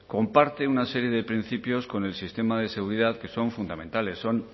comparte una serie de principios con el sistema de seguridad que son fundamentales son